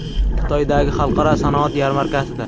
Xitoydagi Xalqaro sanoat yarmarkasida.